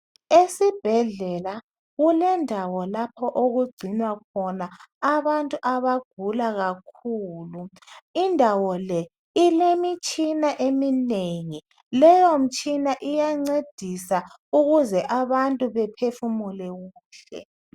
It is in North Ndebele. esibhedlela kulendawo lapho okugcinwa khona abantu abagula kakhulu indawo le ilemitshina eminengi kakhulu leyo mtshina iyancedisa ukuze abantu baphefumule kuhle